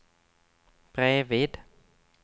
bredvid